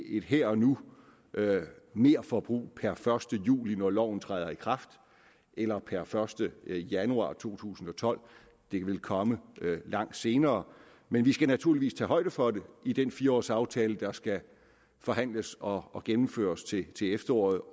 et her og nu merforbrug per første juli når loven træder i kraft eller per første januar to tusind og tolv det vil komme langt senere men vi skal naturligvis tage højde for det i den fire års aftale der skal forhandles og og gennemføres til til efteråret